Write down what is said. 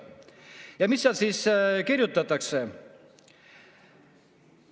Ja mida seal kirjutatakse?